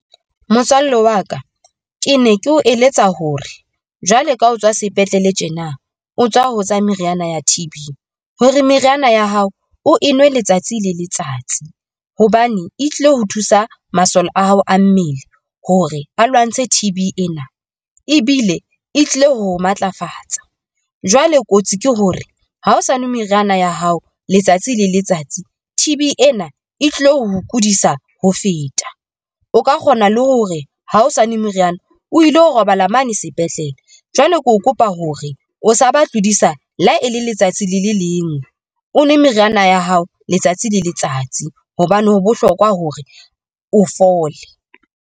Motswalle wa ka, ke ne ke o eletsa hore jwale ka ho tswa sepetlele tjena o tswa ho tsa meriana ya T_B, hore meriana ya hao o enwe letsatsi le letsatsi hobane e tlilo ho thusa masole a hao a mmele hore a lwantshe T_B ena ebile e tlile ho matlafatsa. Jwale kotsi ke hore ha o sa nwe meriana ya hao letsatsi le letsatsi T_B ena e tlao kudisa ho feta. O ka kgona le hore ha o sa nwe moriana o ilo robala mane sepetlele. Jwale ke tlo kopa hore o sa ba tlodisa le ha e le letsatsi le le le ngwe, o nwe meriana ya hao letsatsi le letsatsi hobane ho bohlokwa hore o fole.